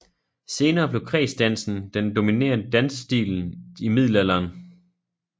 Senere blev kredsdansen den dominerende dansstilen i middelalderen